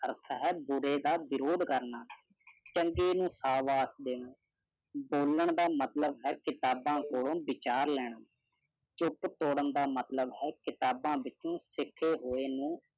ਅਰਥ ਹੈ ਬੁਰੇ ਦਾ ਵਿਰੋਧ ਕਰਨਾ ਚੰਗੇ ਨੂੰ ਸਾਬਾਸ ਦੇਣਾ ਬੋਲਣ ਦਾ ਮਤਲਵ ਹੈ ਕਿਤਾਬਾ ਕੋਲੋਂ ਵਿਚਾਰ ਲੈਣਾ ਚੁੱਪ ਤੋੜਨ ਦਾ ਮਤਲਵ ਹੈ ਕਿਤਾਬਾ ਵਿੱਚੋ ਸਿੱਖੇ ਹੋਏ ਨੂੰ